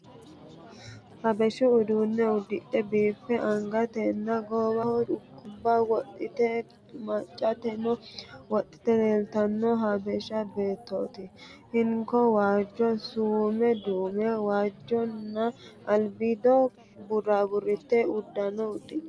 Habeshu uduunne uddidhe biiffe angatenna goowaho culkubba wodhite maccateno wodhite leeltanno habesha beettooti. Hinko waajjo suume duume waajjonna albiido burritte uddano uddidhino.